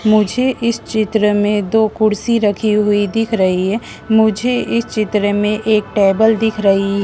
मुझे इस चित्र में दो कुर्सी रखी हुई दिख रही है मुझे इस चित्र में एक टेबल दिख रही--